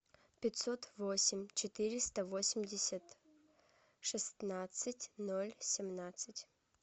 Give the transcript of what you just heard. пятьсот восемь четыреста восемьдесят шестнадцать ноль семнадцать